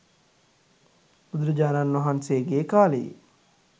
බුදුරජාණන් වහන්සේගේ කාලයේ